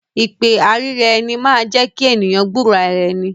Ìpè àìríraeni máa ń jẹ́kí èèyàn gbúro ara ẹni